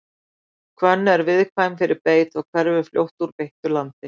hvönn er viðkvæm fyrir beit og hverfur fljótt úr beittu landi